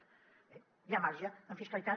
bé hi ha marge en fiscalitat